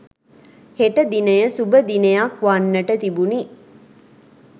හෙට දිනය සුභ දිනයක් වන්නට තිබුණි.